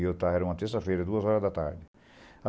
Era estava, era uma terça-feira, duas horas da tarde.